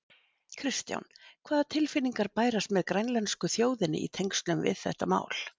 Kristján: Hvaða tilfinningar bærast með grænlensku þjóðinni í tengslum við þetta mál?